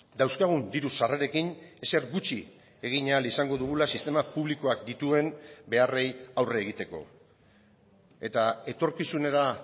dauzkagun diru sarrerekin ezer gutxi egin ahal izango dugula sistema publikoak dituen beharrei aurre egiteko eta etorkizunera